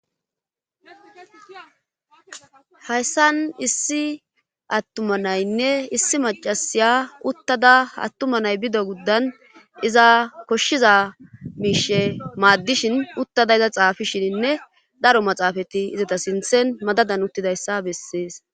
hayssan issi attuma naynne issi macasiya uttada hattuma nay bido guddan iza koshshiza miishe maaddishin uttada iza xaafishininne daro maxaafati izata sinthen madadan uttidayssa bessees